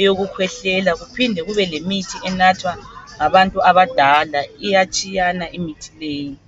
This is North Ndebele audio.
eyokukhwehlela kuphinde kube lemithi enathwa ngabantu abadala iyatshiyana imithi leyi.